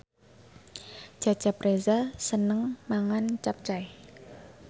Cecep Reza seneng mangan capcay